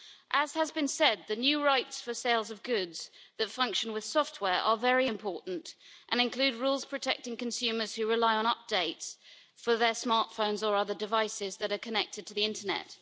As has been said, the new rights for sales of goods that function with software are very important and include rules protecting consumers who rely on updates for their smart phones or other devices that are connected to the internet.